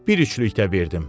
Bir üçlük də verdim.